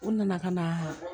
U nana ka na